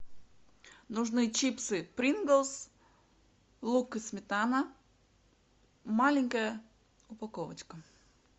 нужны чипсы принглс лук и сметана маленькая упаковочка